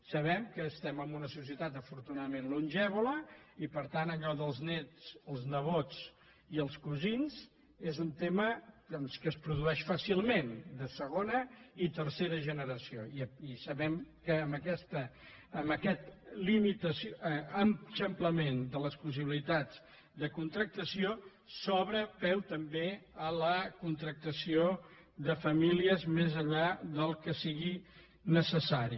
sabem que estem en una societat afortunadament longeva i per tant allò dels néts els nebots i els cosins és un tema que es produeix fàcilment de segona i ter·cera generació i sabem que amb aquest eixamplament de les possibilitats de contractació es dóna peu també a la contractació de famílies més enllà del que sigui necessari